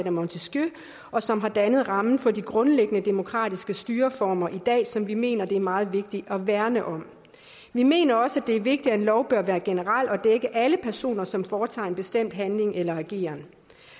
af montesquieu og som har dannet ramme for de grundlæggende demokratiske styreformer i dag som vi mener det er meget vigtigt at værne om vi mener også det er vigtigt at en lov bør være generel og dække alle personer som foretager en bestemt handling eller ageren